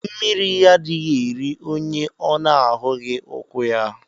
Mmiri adighi eri onye ọ na ahughi ukwu ya.